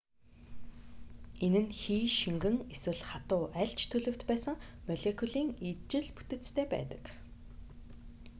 энэ нь хий шингэн эсвэл хатуу аль ч төлөвт байсан молекулын ижил бүтэцтэй байдаг